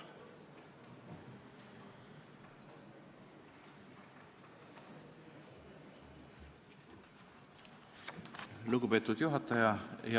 Lugupeetud juhataja!